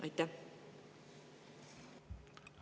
Aitäh!